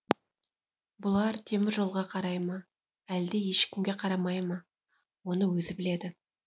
бұлар теміржолға қарай ма әлде ешкімге қарамай ма оны өзі біледі